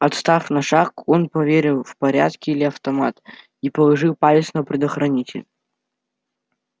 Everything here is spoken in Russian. отстав на шаг он поверил в порядке ли автомат и положил палец на предохранитель